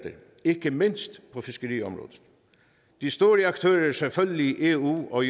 ikke mindst på fiskeriområdet de store aktører er selvfølgelig eu og